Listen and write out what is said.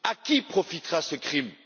À qui profitera ce crime?